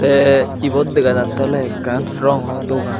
the ibot dega jatte ole ekkan rongo dogan.